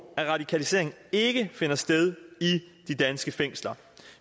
at radikaliseringen finder sted i de danske fængsler